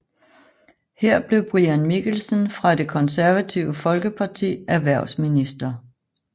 Her blev Brian Mikkelsen fra Det Konservative Folkeparti erhvervsminister